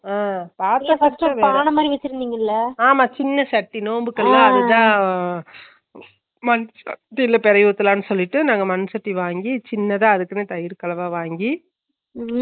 Noise போட்டு செயஞ்சுட்டு தயிர்ல போட்டு செயன்ஜா மண்ணு சட்டி ல போட்டு வெச்ச ரொம்ப நல்லதுனாங்க அப்பவும் தயிர் இத்துணுண்டு உத்தனும் நல்ல ஆற வெச்சுட்டு மண்ணு வசம் அதுக்கு சட்டி மொதலா பழக்கிருங்க மன்னு வாசம் போகுறதுக்கு